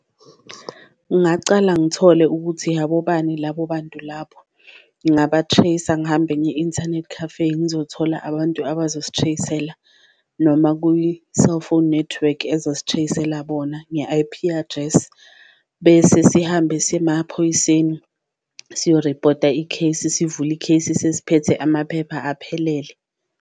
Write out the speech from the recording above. Ngacala ngithole ukuthi abobani labo bantu labo, ngingaba-tracer ngihambe ngiye-inthanethi café ngizothola abantu abazosi-trace-ela noma kwi-cellphone network ezosi-trace-ela bona nge-I_P address, bese sihambe siye emaphoyiseni siyoripota i-case. Sivule i-case sesiphethe amaphepha aphelele